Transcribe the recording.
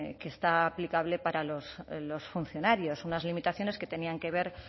que está aplicable para los funcionarios unas limitaciones que tenían que ver